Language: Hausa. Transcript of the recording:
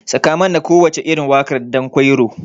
Sakamana kowacce irin waƙar ɗankwairo.